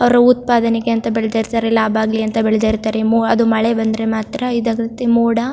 ಅವ್ರ್ ಉತ್ಪಾದನೆಗೆ ಅಂತ ಬೆಳದಿರತ್ತರೆ ಲಾಭ ಆಗ್ಲಿ ಅಂತ ಬೆಳದಿರತ್ತರೆ ಮೂ ಅದು ಮಳೆ ಬಂದ್ರೆ ಮಾತ್ರ ಇದಾಗುತ್ತೆ ಮೋಡ --